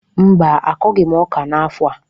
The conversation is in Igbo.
Mba, akọghị m ọka n’afọ a